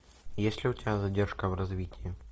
есть ли у тебя задержка в развитии